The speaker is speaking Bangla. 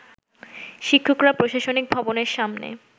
শিক্ষকরা প্রশাসনিক ভবনের সামনে